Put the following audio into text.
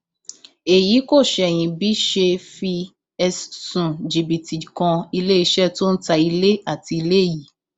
èyí kò ṣẹyìn bí ṣe fi ẹsùn jìbìtì kan iléeṣẹ tó ń ta ilé àti ilé yìí